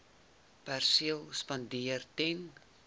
perseel spandeer ten